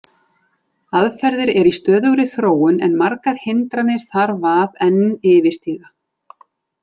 Aðferðir eru í stöðugri þróun en margar hindranir þarf að enn yfirstíga.